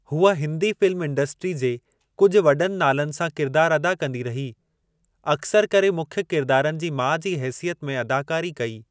हूअ Hindi film industry जे कुझु वॾनि नालनि सां किरिदारु अदा कंदी रही। अक्सरि करे मुख्य किरदारनि जे माउ जी हेसियत में अदाकारी कई।